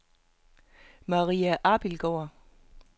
Maria Abildgaard